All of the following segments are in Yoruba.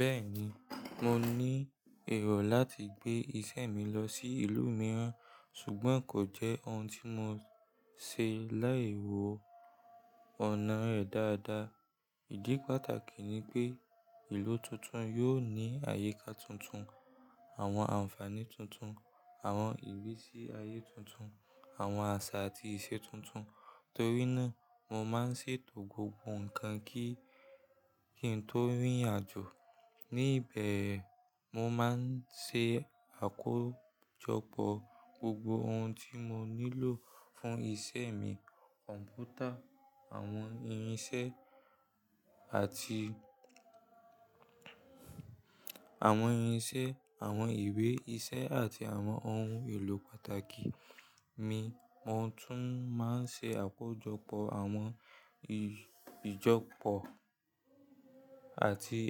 Bẹ́ẹ̀ni, mo ní èrò láti gbé iṣẹ́ mi lọ sí ìlú mìíràn, ṣùgbọ́n kò jẹ́ ohun tí mo ṣe láì wọ ọ̀nà rẹ̀ dáadáa. Ìdí pàtàkì ni pé ìlú tuntun yóò ní àyíká tuntun, àwọn àǹfààní tuntun, àwọn ìrísí ayé tuntun, àwọn àṣà àti ìṣe tuntun. Nítorínà, mo máa ń ṣètò gbogbo nǹkan kí n tó rìnrìnàjò. Ní bẹ̀, mo máa ń ṣe àkójọpọ̀ gbogbo ohun tí mo nílò fún iṣẹ́ mi—kọ̀m̀pútà awon irin àwọn irinṣẹ́, àwọn ìwé iṣẹ́ àti àwọn ohun èlò pàtàkì mi. Mo tún máa ń ṣe àkójọpọ̀ àwọn ìjọpọ̀ àti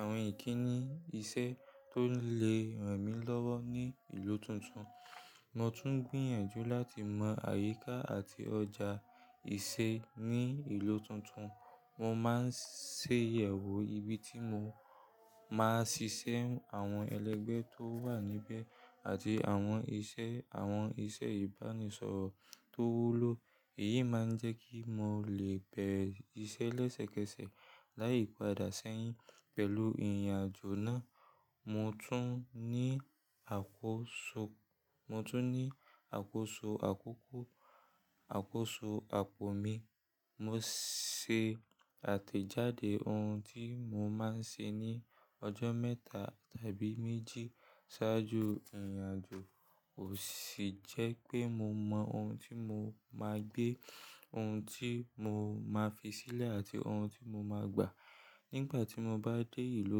àwọn ìkíni iṣẹ́ tó lè ràn mí lọ́wọ́ ní ìlú tuntun. Mo tún ń gbìyànjú láti mọ àyíká àti ọjà ìṣe ní ìlú tuntun. Mo máa ń ṣe ìyẹ̀wò ibi tí mo máa ṣiṣẹ́, àwọn ẹlẹ́gbẹ́ tó wà níbẹ̀ àti àwọn ìṣe ìbánisọ̀rọ̀ tó wúlò. Èyí máa ń jẹ́ kí mo lè bẹ̀rẹ̀ iṣẹ́ lẹ́sẹ̀kẹsẹ̀ láì padà sẹ́yìn. Pẹ̀lú ìrìnàjò náà, mo tún ní àkóso àkókò àti àkóso apò mi. Mo ṣe àtẹ̀jáde ohun tí mo máa ń ṣe ní ọjọ́ mẹ́ta tàbí méjì ṣáájú ìrìnàjò ó sì jẹ́ pé mo mọ ohun tí mo máa gbé, ohun tí mo máa fi sílẹ̀ àti ohun tí mo máa gbà. Nígbà tí mo bá dé ìlú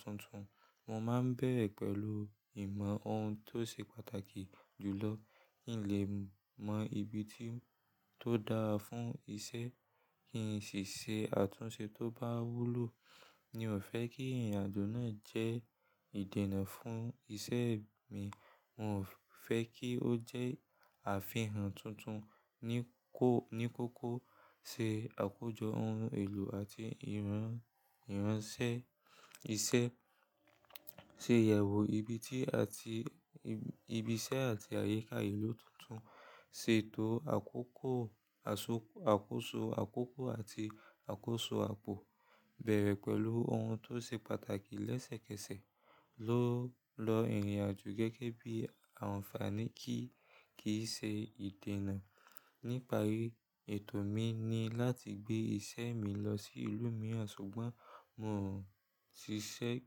tuntun, mo máa ń bẹ̀rẹ̀ pẹ̀lú ìmọ̀ ohun tó ṣe pàtàkì jùlọ. Kí n lè mọ ibi tí ó dára fún iṣẹ́ kí n sì ṣe àtúnṣe tó bá wúlò. Mi ò fẹ́ kí ìrìnàjò náà jẹ́ ìdènà fún iṣẹ́ mi. Mo fẹ́ kí ó jẹ́ àfihàn tuntun. Ní kókó, ṣe àkójọ ohun èlò àti ìránṣẹ́ iṣẹ́, ṣe ìyẹ̀wò ibi ti ati ibi iṣẹ́ àti àyíká ìlú tuntun, ṣètò akoko aso àkóso àkókò àti àkóso apò, bẹ̀rẹ̀ pẹ̀lú ohun tó ṣe pàtàkì lẹ́sẹ̀kẹsẹ̀ lọ́ lo ìrìnàjò gẹ́gẹ́ bí àǹfààní ki kíì ṣe ìdènà. Nípari ètò mi ni láti gbé iṣẹ́ mi lọ sí ìlú mìíràn, ṣùgbọ́n mo ṣiṣẹ́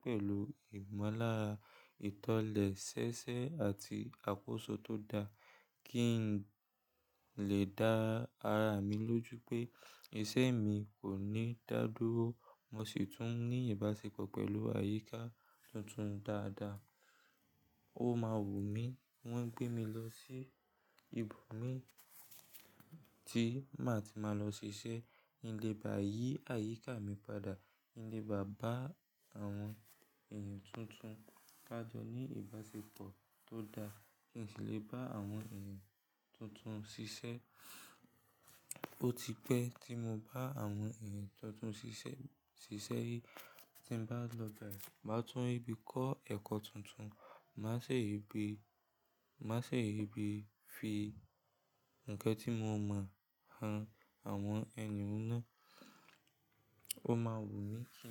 pẹ̀lú ìmọ̀lára, ìtọ́lẹ̀ ṣẹ́ṣẹ́ àti àkóso tó dáa kí n lè dá ara mi lójú pé iṣẹ́ mi kò ní dá dúró. Mo sì tún ní ìbáṣepọ̀ pẹ̀lú àyíká tuntun dáadáa. Ó máa wù mí, wọ́n gbé mi lọ sí ibo mi tí màá ti máa lọ ṣiṣẹ́. Kin le baa yí àyíká mi padà, kin le ba bá àwọn èèyàn tuntun padà ní ìbáṣepọ̀ tó dáa kí n sì lè bá àwọn èèyàn tuntun ṣiṣẹ́. Ó ti pẹ́ tí mo bá àwọn èèyàn tuntun ṣiṣẹ́ ri tí n bá lọ báyìí, màá tún ri bí kọ́ ẹ̀kọ́ tuntun, màá ṣe ìbí fi ǹkan tí mo mọ̀ han àwọn ènìyàn náà. Ó máa wù mí kí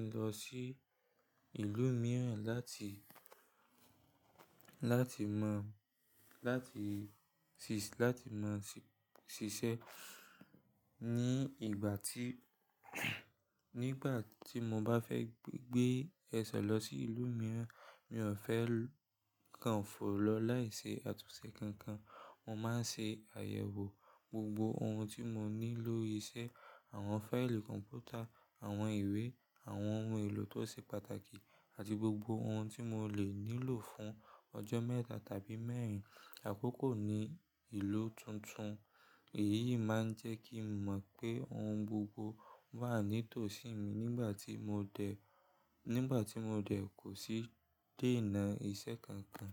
n lọ sí ìlú láti mọ lati ṣiṣẹ́ lati mo sise Nígbà tí mo bá fẹ́ gbé ẹ̀ṣẹ̀ lọ sí ìlú mìíràn, mi ò fẹ́ kan fò lọ láì ṣe àtúnṣe kankan. Mo máa ń ṣe àyẹ̀wò gbogbo ohun tí mo ní lórí iṣẹ́—àwọn fáìlì kọ̀m̀pútà, àwọn ìwé, àwọn ohun èlò tó ṣe pàtàkì àti gbogbo ohun tí mo lè nílò fún ọjọ́ mẹ́ta tàbí mẹ́rin àkókò ní ìlú tuntun. Èyí máa ń jẹ́ kí n mọ̀ pé ohun gbogbo wà nítòsí mi nígbà tí mo dẹ̀ kò sì dé ìna ìṣe kankan.